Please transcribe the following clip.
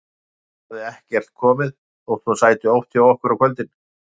Stína hafði ekkert komið, þótt hún sæti oft hjá okkur á kvöldin.